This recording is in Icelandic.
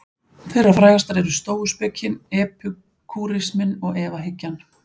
Þeirra frægastar eru stóuspekin, epikúrisminn og efahyggjan.